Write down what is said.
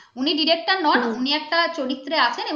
উনি director নন উনি একটা চরিত্রে আছেন